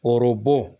Orobo